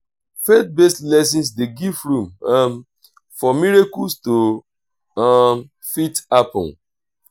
faith based lessons de give room um for miracles to um fit happen